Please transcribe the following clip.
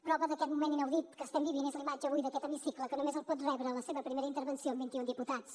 prova d’aquest moment inaudit que estem vivint és la imatge avui d’aquest hemicicle que només el pot rebre en la seva primera intervenció amb vint i un diputats